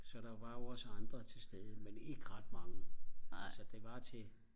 så der var jo også andre til stede men ikke ret mange altså det var til